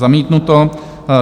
Zamítnuto.